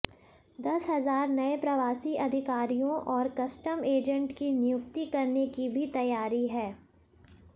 दस हजार नए प्रवासी अधिकारियों और कस्टम एजेंट की नियुक्ति करने की भी तैयारी है